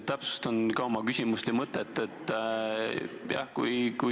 Täpsustan ka oma küsimuse mõtet.